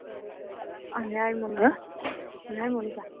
আমি আর মন্দিরা আমি আর মন্দিরা